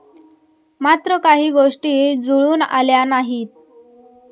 मात्र काही गोष्टी जुळून आल्या नाहीत.